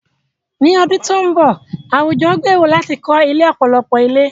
Ní ọdún tó ń bọ̀, àwùjọ gbèrò láti kọ́ ilé ọ̀pọ̀lọpọ̀ ilé.